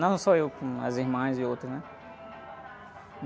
Não só eu, como as irmãs e outros, né?